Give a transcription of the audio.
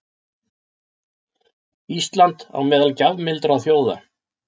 Ísland á meðal gjafmildra þjóða